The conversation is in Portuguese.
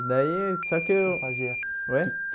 Daí só que eu O que ela fazia que oi